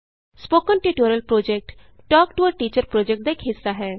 spoken tutorial project talk to a teacher project ਦਾ ਇਕ ਹਿੱਸਾ ਹੈ